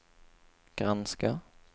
granska